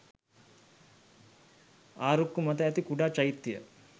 ආරුක්කු මත ඇති කුඩා චෛත්‍ය